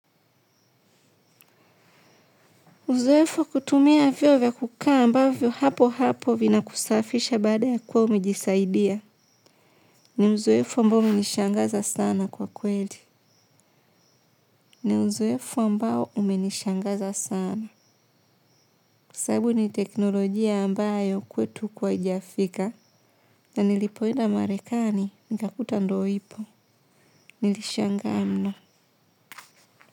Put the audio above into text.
Uzoefu wa kutumia vyoo vya kukaa ambavyo papo hapo vina kusafisha baada ya kuwa umijisaidia. Ni uzoefu ambao umenishangaza sana kwa kweli. Ni uzoefo mbao umenishangaza sana. Kwa sasabu ni teknolojia ambayo kwetu uku hajiafika. Na nilipoenda marekani, nikakuta ndoo ipo. Nilishangaa mno.